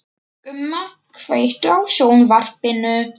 Gumma, kveiktu á sjónvarpinu.